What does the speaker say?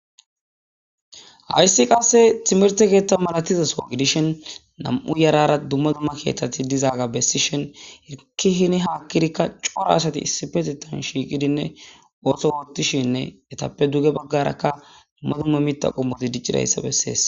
Hayisi qasse timerte geetta malatizaso gidishen na'mu yarara dumma dumma keaththati dizaaga bessishin iki hini haakkirikka coora asati issipetitan shiiqidinne ooso woottishinne etappe duge baggarakka dumma dumma mita qommoti diccidayssa bessees